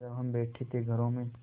जब हम बैठे थे घरों में